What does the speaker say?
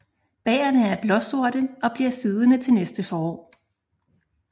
Bærrene er blåsorte og bliver siddende til næste forår